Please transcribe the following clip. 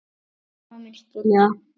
Mamma muni skilja það.